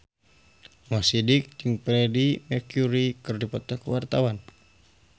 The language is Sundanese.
Mo Sidik jeung Freedie Mercury keur dipoto ku wartawan